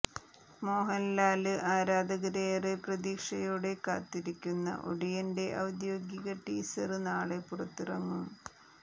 മോഹന്ലാല് ആരാധകര് ഏറെ പ്രതീക്ഷയോടെ കാത്തിരിക്കുന്ന ഒടിയന്റെ ഔദ്യോഗിക ടീസര് നാളെ പുറത്തിറങ്ങും